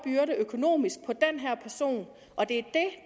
økonomisk byrde på den her person og det